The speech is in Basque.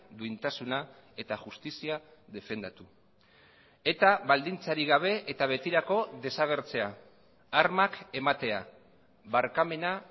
duintasuna eta justizia defendatu eta baldintzarik gabe eta betirako desagertzea armak ematea barkamena